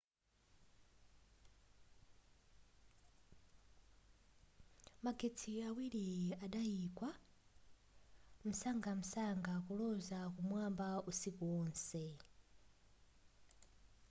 magetsi awiri adayikwa msangamsanga kuloza kumwamba usiku wonse